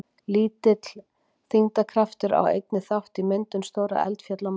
Lítill þyngdarkraftur á einnig þátt í myndum stórra eldfjalla á Mars.